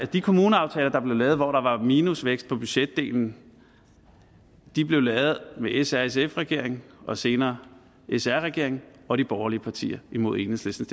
de kommuneaftaler der blev lavet hvor der var minusvækst på budgetdelen blev lavet med s r sf regeringen og senere s r regeringen og de borgerlige partier imod enhedslistens